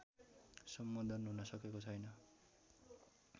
सम्बोधन हुन सकेको छैन